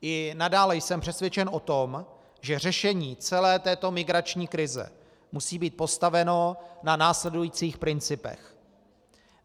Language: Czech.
I nadále jsem přesvědčen o tom, že řešení celé této migrační krize musí být postaveno na následujících principech.